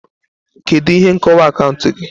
Kedu ihe nkọwa akaụntụ gị?